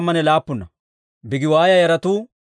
Hariifa yaratuu 112.